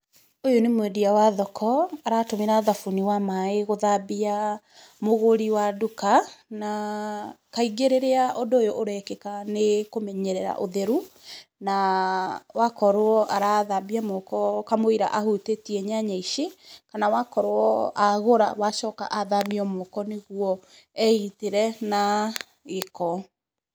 Ũyũ nĩ mwendia wa thoko, aratũmĩra thabuni wa maaĩ gũthambia, mũgũri wa nduka. Na, kaingĩ rĩrĩa ũndũ ũyũ ũrekĩka nĩ kũmenyerera ũtheru, na, wakorwo arethamba moko, kamũira ahutĩtie nyanya ici, kana wakorwo, agũra wacoka athambio moko nĩ guo, egitĩre na gĩĩko.